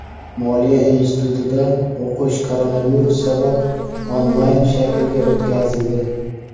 Moliya institutida o‘qish koronavirus sabab onlayn shaklga o‘tkazildi.